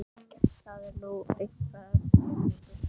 Það er nú eitthvað að þér, drengur!